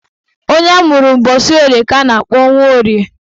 Onye amụrụ ụbọchị Orie na-aza Nworie